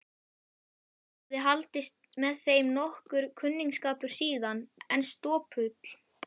Hafði haldist með þeim nokkur kunningsskapur síðan, en stopull.